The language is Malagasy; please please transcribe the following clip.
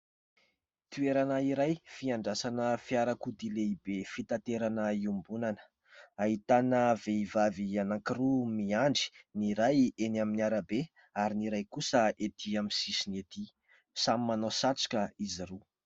Toerana iray fiandrasana fiarakodia lehibe fitaterana iombonana. Ahitana vehivavy anankiroa miandry, ny iray eny amin'ny arabe, ary ny iray kosa ety amin'ny sisiny ety. Samy manao satroka izy roa.